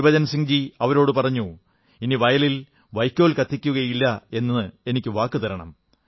ഗുരുബച്ചൻ സിംഗ് ജി അവരോടു പറഞ്ഞു ഇനി വയലിൽ വയ്ക്കോൽ കത്തിക്കയില്ലെന്ന് എനിക്കു വാക്കു തരണം